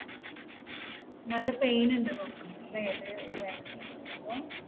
നല്ല pain ഇണ്ടെന്ന് തോന്നണു അല്ലെ ഇത് ഈ vaccine എടുക്കുമ്പോൾ?